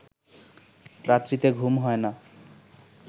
রাত্রিতে ঘুম হয় না